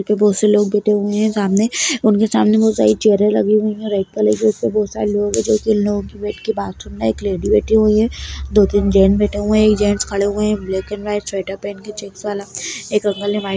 बहोत से लोग बैठे हुए हैं सामने उनके सामने बहोत सारी चेयरें लगी हुई हैं रेड कलर की बहोत सारे लोग हैं जो की बाजु में एक लेडी बैठी हुई है दो तीन जेंट्स बैठे हुए हैं एक जेंट्स खड़े हैं ब्लैक एंड वाइट स्वेटर पहन कर चेक्स वाला।